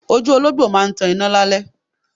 Ojú olóńgbò máa ń tan iná lálẹ́.